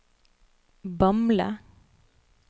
Bamble